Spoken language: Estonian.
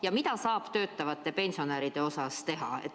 Ja mida saab töötavate pensionäride heaks teha?